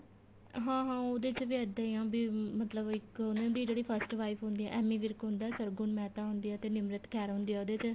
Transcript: ਹਾਂ ਹਾਂ ਉਹਦੇ ਚ ਵੀ ਇੱਦਾਂ ਈ ਏ ਬੀ ਮਤਲਬ ਇੱਕ ਉਹਨੇ ਬੀ ਜਿਹੜੀ first wife ਹੁੰਦੀ ਏ ਏਮੀ ਵਿਰਕ ਹੁੰਦਾ ਸਰਗੁਣ ਮਹਿਤਾ ਹੁੰਦੀ ਏ ਤੇ ਨਿਮਰਤ ਖਹਿਰਾ ਹੁੰਦੀ ਏ ਉਹਦੇ ਚ